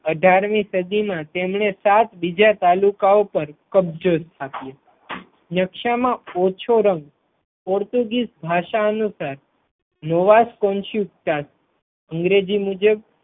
અઢાર મી સદી મા તેમણે સાત બીજા તાલુકાઓ પર કબજો સ્થાપ્યો નકશામાં ઓછો રંગ પોર્ટુગીઝ ભાષા અનુસાર નોવાસ અંગ્રેજી મુજબ